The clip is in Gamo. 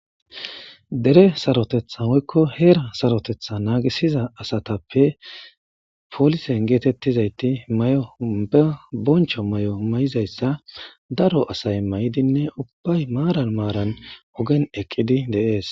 dere sarotetha moykko heer sarotetha naagisiza asatappe poolisen geetettizayti may7obe boncho may7o may7izayssa daro asay may7idinne ubbay maaran maaran ogen eqqidi de7es